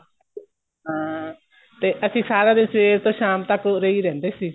ਹਾਂ ਤੇ ਅਸੀਂ ਸਾਰਾ ਦਿਨ ਸਵੇਰ ਤੋ ਸ਼ਾਮ ਤੱਕ ਉਰੇ ਹੀ ਰਹਿੰਦੇ ਸੀ